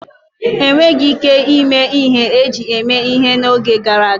Enweghi ike ime ihe eji eme ihe n'oge gara aga.